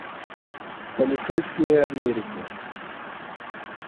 полицейские америки